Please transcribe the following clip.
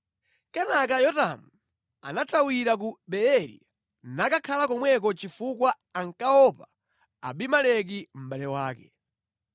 Kenaka Yotamu anathawira ku Beeri nakakhala komweko chifukwa ankaopa Abimeleki mʼbale wake.